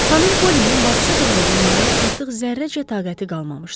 Xanım Polinin bacısı qızını dinləməyə artıq zərrəcə taqəti qalmamışdı.